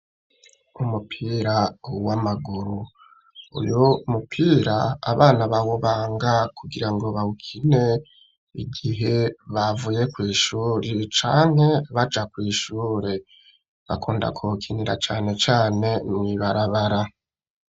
Umupira uwa amaguru uyu mupira abana bawubanga kugira ngo bawukine igihe bavuye kw'ishuri canke baja kw'ishure bakunda kokinira canecane mwibarabara.